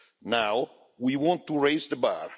Now we want to raise the bar.